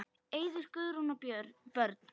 Eiður, Guðrún og börn.